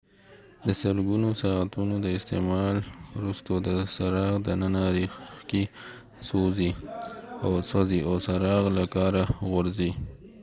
د سلګونو ساعتونو د استعمال وروسته د څراغ دننه ریښکۍ سوځي او څراغ له کاره غورځي